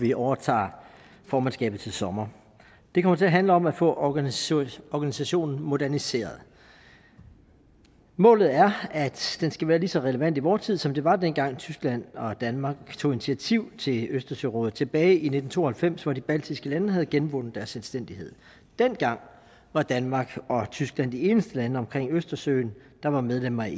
vi overtager formandskabet til sommer det kommer til at handle om at få organisationen organisationen moderniseret målet er at den skal være lige så relevant i vor tid som den var dengang tyskland og danmark tog initiativ til østersørådet tilbage i nitten to og halvfems hvor de baltiske lande havde genvundet deres selvstændighed dengang var danmark og tyskland de eneste lande omkring østersøen der var medlemmer af